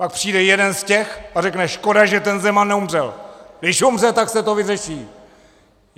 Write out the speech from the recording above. Pak přijde jeden z těch a řekne "škoda, že ten Zeman neumřel, když umře, tak se to vyřeší"!